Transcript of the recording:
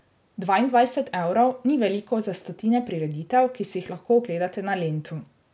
Dvaindvajset evrov ni veliko za stotine prireditev, ki si jih lahko ogledate na Lentu.